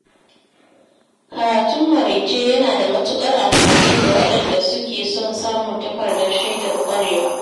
Karatun maraice yana da matukar amfani ga wadanda suke son samun takardar shaidar ƙwarewa.